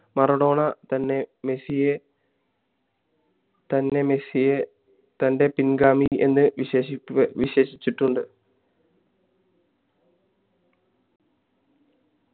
Maradona തന്നെ മെസ്സിയെ തന്നെ മെസ്സിയെ തൻ്റെ പിൻഗാമി എന്ന് വിശേഷി വിശേഷിച്ചിട്ടുണ്ട്